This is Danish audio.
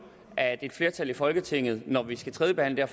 at et flertal i folketinget når vi skal tredjebehandle